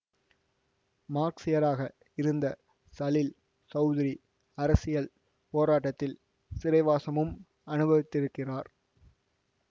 மார்க்ஸியராக இருந்த சலீல் சௌதுரி அரசியல் போராட்டத்தில் சிறைவாசமும் அனுபவித்திருக்கிறார்